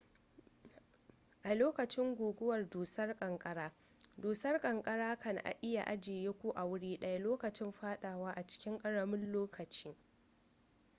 a lokacin guguwar dusar kankara dusar kanakara kan iya ajiye ku a wuri daya lokacin fadawa a cikin karamin lokaci